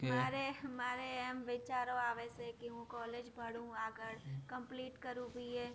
મારે મારે એમ વિચારો આવે છે કે હું college ભણું આગળ, complete કરું BA